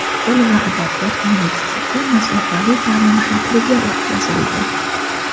Til va adabiyot universiteti masofaviy ta’lim shakliga o‘tkazildi.